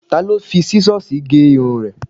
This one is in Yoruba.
Ta ló fi Sísọ́sìì gé irun rẹ?